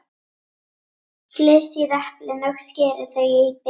Flysjið eplin og skerið þau í bita.